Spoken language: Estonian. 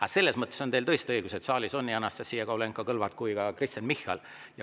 Aga selles mõttes on teil tõesti õigus, et saalis on nii Anastassia Kovalenko-Kõlvart kui ka Kristen Michal.